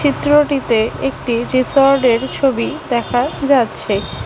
চিত্রটিতে একটি রিসর্ডের ছবি দেখা যাচ্ছে।